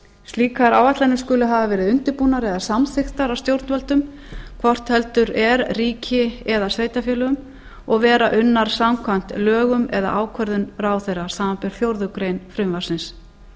slíkar áætlanir skulu hafa verið undirbúnar eða samþykktar af stjórnvöldum hvort heldur er ríki eða sveitarfélögum og vera unnar samkvæmt lögum eða ákvörðun ráðherrans samanber fjórðu grein frumvarpsins